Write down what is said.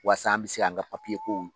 Waasa an bɛ se k'an ka kow